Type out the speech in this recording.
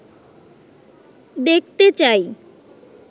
দেখতে চাই